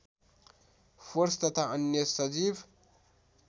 force तथा अन्य सजीव